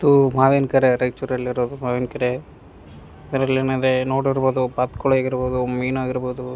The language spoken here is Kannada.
ತೂ ಮಾವಿನ್ಕೆರೆ ರಯಚೂರ್ ಅಲ್ಲಿರೊದು ಮಾವಿನ್ಕೆರೆ ಇದ್ದರಲ್ಏನದೆ ನೋಡಿರ್ಬಹುದು ಬಾತುಕೋಳಿಯಾಗಿರಬಹುದು ಮೀನಾಗಿರಬಹುದು --